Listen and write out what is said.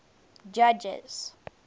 judges